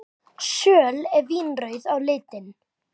Söl eru vínrauð á litinn.